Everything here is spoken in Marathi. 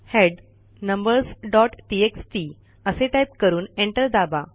हेड numbersटीएक्सटी असे टाईप करून एंटर दाबा